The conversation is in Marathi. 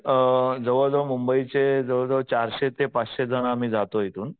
अ जवळ जवळ मुंबईचे जवळ जवळ चारशे पाचशे जण आम्ही जातो इथून.